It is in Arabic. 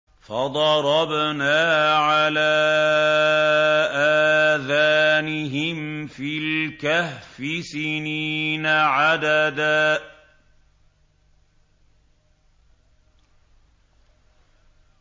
فَضَرَبْنَا عَلَىٰ آذَانِهِمْ فِي الْكَهْفِ سِنِينَ عَدَدًا